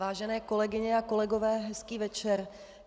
Vážené kolegyně a kolegové, hezký večer.